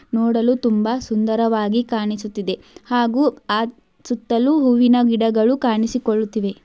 ನೋಡಲು ತುಂಬ ಸುಂದರವಾಗಿ ಕಾಣಿಸುತ್ತಿದೆ ಹಾಗು ಆ ಸುತ್ತಲೂ ಹೂವಿನ ಗಿಡಗಳು ಕಾಣಿಸಿಕೊಳ್ಳುತ್ತಿವೆ.